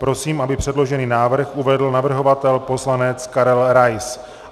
Prosím, aby předložený návrh uvedl navrhovatel poslanec Karel Rais.